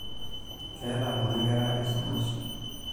Keeta kuna kera esumash.